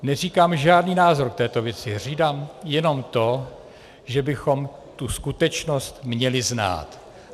Neříkám žádný názor k této věci, říkám jenom to, že bychom tu skutečnost měli znát.